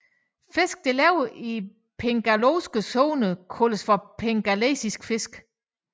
Fisk der lever i den pelagiske zone kaldes pelagiske fisk